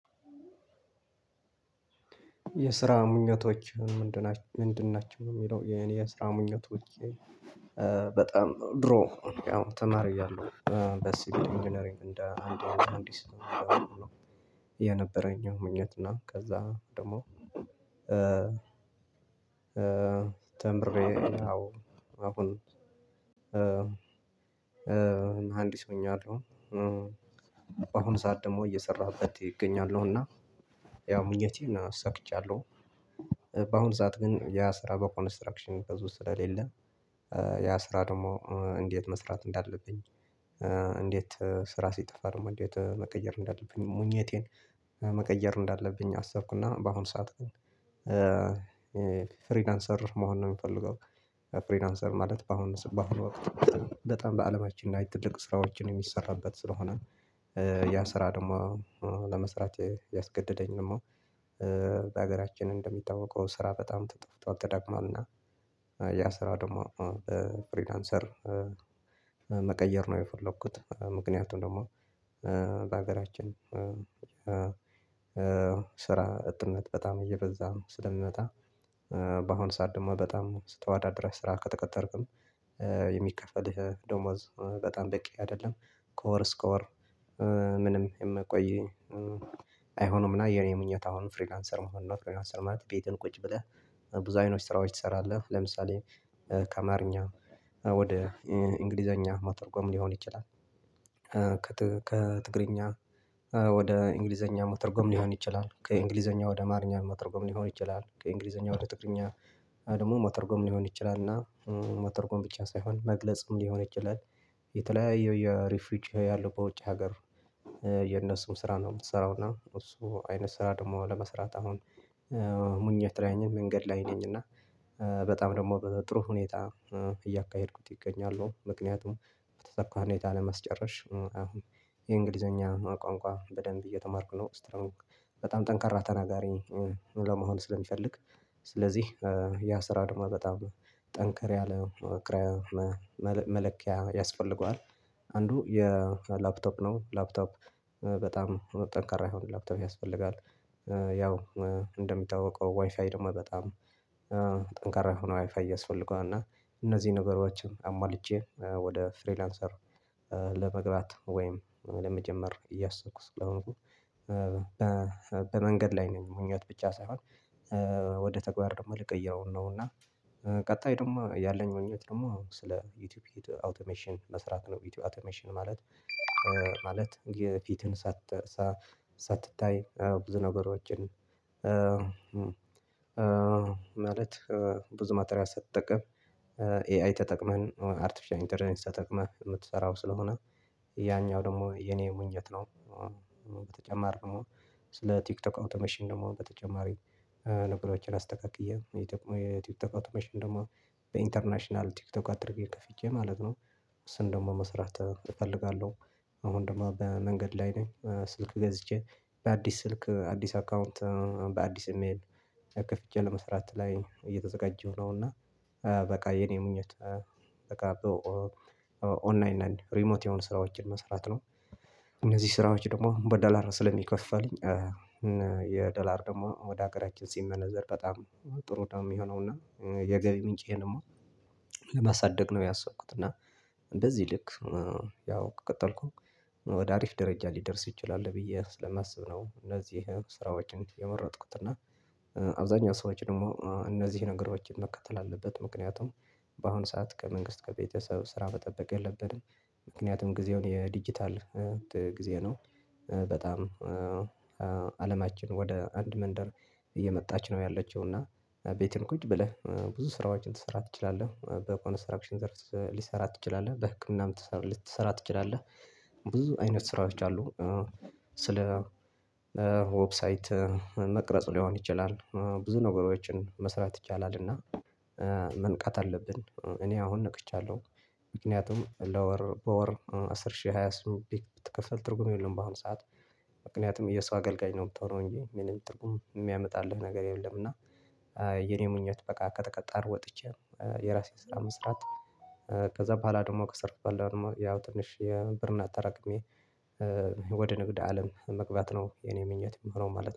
የስራ ምኞቶችህ ምንድን ናቸው ምንድን ናቸው ነው የሚለው የኔ የስራ ምኞቶቼ? በጣም ድሮ ያው ተማሪ እያለሁ በሲቪል ኢንጂነሪግ እንደ አንድ መሃንድስ የነበረኝ ምኞት እና ከዛ ደግሞ ተምሬ ያው አሁን መሃንዲስ ሆኛለሁ። በአሁን ሰዓት ደግሞ እየሰራሁበት እገኛለሁ እና ያው ምኞቴን አሳክቻለሁ። በአሁን ሰዓት ግን ያው ስራ በኮንስትራክሽን ብዙ ስለሌለ ያን ስራ ደግሞ እንዴት መስራት እንዳለብኝ እንዴት ስራ ሲጠፋ ደግሞ እንዴት መቀየር እንዳለብኝ ምኞቴን መቀየር እንዳለብኝ አሰብኩና በአሁን ሰዓት ግን ፍሪላንሰር መሆን ነው የምፈልገው። ፍሪላንሰር ማለት በአሁን ሰ በአሁኑ ወቅት በጣም በአለማችን ላይ ትልቅ ስራዎችን የሚሰራበት ስለሆነ ያን ስራ ደግሞ ለመስራት ያስገደደኝ ደግሞ በሀገራችን እንደሚታወቀው ስራ በጣም ጠፍጧል ተዳክሟል እና የ ያ ስራ ደግሞ ፍሪላንሰር መም መቀየር ነው የፈለኩት። ምክንያቱም ደግሞ በሀገራችን ስራ አጥነት በጣም እየበዛ ስለምመጣ በአሁኑ ሰዓት ደግሞ በጣም ተወዳድረህ ስራ ከተቀጠርክም የሚከፈልህ ደሞዝ በጣም በቂ አይደለም ከ ወር እስከ ወር ምንም የምያቆይህ አይሆንም እና የኔ ምኞት አሁን ፍሪላንሰር መሆን ነው። ፍሪላንሰር ማለት ቤትህ ቁጭ ብለህ ብዙ አይነት ስራዎች ትሰራለህ ለምሳሌ ከአማርኛ ወደ እንግሊዘኛ ማተርጎም ሊሆን ይችላል ከ ከትግርኛ ወደ እንግሊዘኛ መተርጎም ሊሆን ይችላል ከእንግሊዘኛ ወደ አማርኛ መተርጎም ሊሆን ይችላል ከእንግሊዘኛ ወደ ትግርኛ ደግሞ መተርጎም ሊሆን ይችላል እና መተርጎም ብቻ ሳይሆን መግለጽም ሊሆን ይችላል። የተለያዩ የሪፍሪች ያለው በውጭ ሀገር የእነሱን ስራ ነው የምትሰራው እና እሱ አይነት ስራ ደግሞ ለመስራት አሁን ምኞት ላይ ነኝ መንገድ ላይ ነኝ እና በጣም ደግሞ በጥሩ ሁኔታ እያካሄድኩት እገኛለሁ። ምክንያቱም በተሰካ ሁኔታ ለመጨረስ አሁን የእንግሊዘኛ ቋንቋ በደንብ እየተማርኩ ነው ስትሮንግ በጣም ጠንካራ ተናጋሪ ለመሆን ስለሚፈልግ ስለዚህ ያ ስራ ደግሞ በጣም ጠንከር ያለ ክራ መ መለኪያ ያስፈልገዋል። አንዱ የላፕቶፕ ነው ላፕቶፕ በጣም ጠንካራ የሆነ ላፕቶፕ ያስፈልጋል ያው እንደሚታወቀው ዋይፋይ ደግሞ በጣም ጠንካራ የሆነ ዋይፋይ ያስፈልገዋል እና እነዚህን ነገሮችን አሟልቼ ወደ ፍሪላንሰር ለመግባት ወይም ለመጀመር እያሰብኩ ስለሆነ በመንገድ ላይ ነኝ። ምኞት ብቻ ሳይሆን ወ ወደ ተግባር ደግሞ ልቀይረው ነው እና ቀጣይ ደግሞ ያለኝ ምኞት ደግሞ ስለ ዩቲዩብ አውቶሜሽን መስራት ነው ዩቲዩብ አውቶሜሽን ማለት ማለት የፊትህን ሳት ሳትታይ ብዙ ነገሮችን ማለት ብዙ ማቴሪያል ሳትጠቀም ኤአይ ተጠቅመህ አርተፊሻል እንተለጀንስ ተጠቅመህ የምትሰራው ስለሆነ ያኛው ደግሞ የኔ ምኞት ነው። በተጨማር ደግሞ ስለ ቲክቶክ አውቶሜሽን ደግሞ በተጨማሪ ነገሮችን አስተካክዬ የቲክ ቲክቶክ አውቶሜሽን ደግሞ በኢንተርናሽናል ቲክቶክ አድርጌ ከፍቼ ማለት ነው እሱን ደግሞ መስራት እፈልጋለሁ። አሁን ደግሞ በመንገድ ላይ ነኝ ስልክ ገዝቼ በአዲስ ስልክ አዲስ አካውንት በአዲስ ኢ-ሜል ከፍቼ ለመስራት እየተዘጋጀሁ ነው እና በቃ የኔ ምኞት በቃ ኦ ኦንላይን ላይ ሪሞት የሆኑ ስራዎችን መስራት ነው። እነዚህ ስራዎች ደግሞ በዶላር ስለሚከፍልልኝ የዶላር ደግሞ ወደ ሀገራችን ሲመነዘር በጣም ጥሩ ነው የሚሆነው እና የገቢ ምንጬንም ለማሳደግ ነው ያሰብኩት እና በዚህ ልክ ያው ቀጠልኩኝ ወደ አሪፍ ደረጃ ሊደርስ ይችላል ብዬ ስለማስብ ነው እነዚህን ስራዎችን የመረጥኩት። እና አብዛኛው ሰዎች ደግሞ እነዚህን ነገሮችን መከተል አለበት ምክንያቱም በአሁኑ ሰዓት ከመንግስት ከቤተሰብ ስራ መጠበቅ የለብንም ምክንያቱም ጊዜው የዲጂታል ጊዜ ነው በጣም አለማችን ወደ አንድ መንደር እየመጣች ነው ያለችው እና ቤትህም ቁጭ ብለህ ብዙ ስራዎችን ልትሰራ ትችላለህ በኮንስትራክሽን ዘርፍ ልትሰራ ትችላለህ በህክምናም ትሰ ልትሰራ ትችላለህ ብዙ አይነት ስራዎች አሉ። ስለ ዌብሳይት መቅረጽ ሊሆን ይችላል ብዙ ነገሮችን መስራት ይቻላል እና መንቃት አለብን እኔ አሁን ነቅቻለሁ ምክንያቱም ለወር በወር አስር ሺህ ራሱ ቢከፈል ትርጉም የለውም በአሁን ሰዓት ምክንያቱም የሰው አገልጋይ ነው የምትሆነው እንጂ ምንም ትርጉም የሚያመጣልህ ነገር የለም። እና የ የኔ ምኞት በቃ ከተቀጣሪነት ወጥቼ የራሴን ስራ መስራት ከዛ በኋላ ደግሞ ከሰረሁ በኃላ ደግሞ ያው ትንሽ ብርን አጠራቅሜ ህ ወደ ንግድ አለም መግባት ነው የኔ ምኞት የሚሆነው ማለት